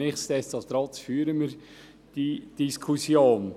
Nichtsdestotrotz führen wir diese Diskussion.